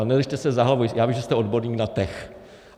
A nedržte se za hlavu, já vím, že jste odborník na TECH.